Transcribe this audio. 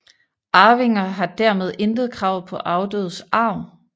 Arvinger har dermed intet krav på afdødes arv